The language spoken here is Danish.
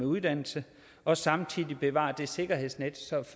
uddannelse og samtidig bevare et et sikkerhedsnet